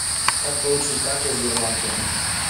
как получить карту в сбербанке